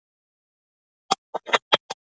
Daðína stóð við stafngluggann og sneri við þeim baki.